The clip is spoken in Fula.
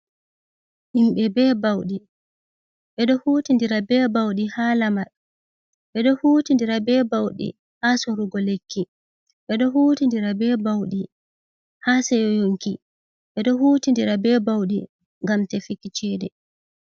Himbe be bauɗi. Bedo hutindira be baudi ha lamar, ɓedo hutindira be bauɗi ha sorugo lekki, ɓedo hutindira be bauɗi ha seyo yonki. Bedo hutindira be bauɗi ngam tefiki cede.